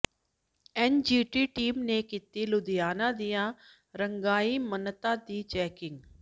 NGT team ਨੇ ਕੀਤੀ ਲੁਧਿਆਣਾ ਦੀਆਂ ਰੰਗਾਈ ਸਨਅਤਾਂ ਦੀ ਚੈਕਿੰਗ